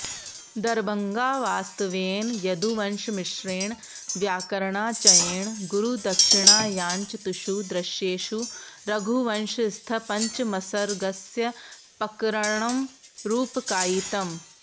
दरभङ्गावास्तव्येन यदुवंशमिश्रेण व्याकरणाचयेण गुरुदक्षिणायाञ्चतुषु दृश्येषु रघुवंशस्थपञ्चमसर्गस्य पकरणं रूपकायितम्